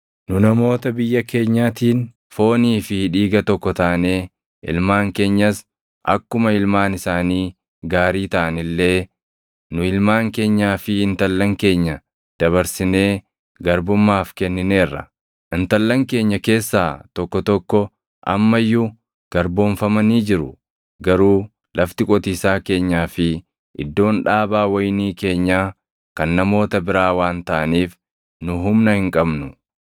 Nu namoota biyya keenyaatiin foonii fi dhiiga tokko taanee ilmaan keenyas akkuma ilmaan isaanii gaarii taʼan illee, nu ilmaan keenyaa fi intallan keenya dabarsinee garbummaaf kennineerra. Intallan keenya keessaa tokko tokko amma iyyuu garboomfamanii jiru; garuu lafti qotiisaa keenyaa fi iddoon dhaabaa wayinii keenyaa kan namoota biraa waan taʼaniif nu humna hin qabnu.”